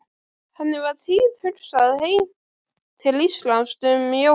Henni var tíðhugsað heim til Íslands um jólin.